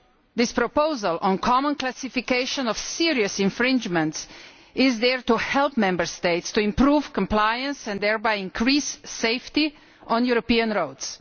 This proposal on common classification of serious infringements is there to help Member States to improve compliance and thereby increase safety on European roads.